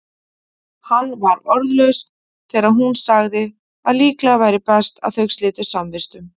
Hann var orðlaus þegar hún sagði að líklega væri best að þau slitu samvistum.